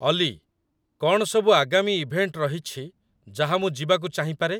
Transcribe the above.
ଅଲି, କ'ଣ ସବୁ ଆଗାମୀ ଇଭେଣ୍ଟ ରହିଛି ଯାହା ମୁଁ ଯିବାକୁ ଚାହିଁପାରେ ?